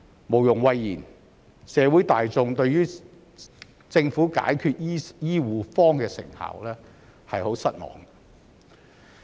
無庸諱言，社會大眾對於政府解決醫護荒的成效很失望。